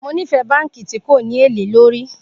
Mo nifẹ banki ti ko ni ele lórí